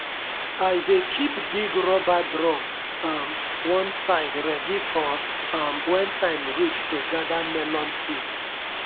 i dey keep big rubber drum um one side ready for um when time reach to gather melon seed.